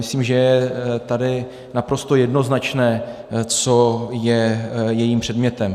Myslím, že je tady naprosto jednoznačné, co je jejím předmětem.